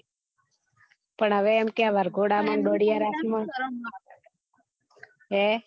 પણ હવે એમ કે વરઘોડા માં દોડિયા રાસ માં હે